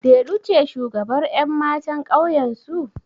Delu ce shugabar ƴan matan ƙauyensu?